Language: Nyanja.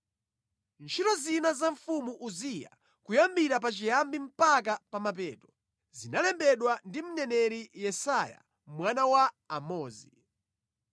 Ntchito zina za mfumu Uziya, kuyambira pachiyambi mpaka pa mapeto, zinalembedwa ndi mneneri Yesaya mwana wa Amozi.